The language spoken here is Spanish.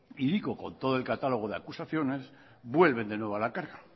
y digo con todo el catálogo de acusaciones vuelven de nuevo a la carga